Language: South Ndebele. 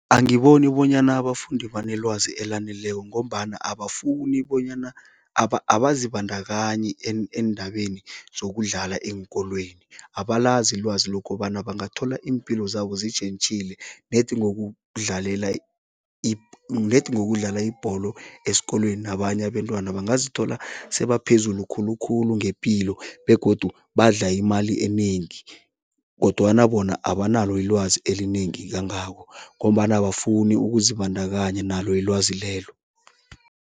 Angiboni bonyana abafundi banelwazi elaneleko ngombana abafuni bonyana, abazibandakanyi eendabeni zokudlala eenkolweni. Abalazi ilwazi lokobana bangathola iimpilo zabo zetjhentjhile ned ngokudlalela ned ngokudlala ibholo esikolweni nabanye abentwana, bangazithola sebaphezulu khulukhulu ngepilo begodu badla imali enengi kodwana bona abanalo ilwazi elinengi kangako ngombana abafuni ukuzibandakanya nalo ilwazi lelo.